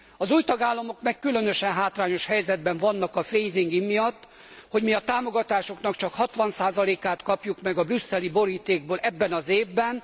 Az új tagállamok meg különösen hátrányos helyzetben vannak a phasing in miatt, hogy mi a támogatásoknak csak 60 át kapjuk meg a brüsszeli borítékból ebben az évben.